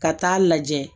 Ka taa lajɛ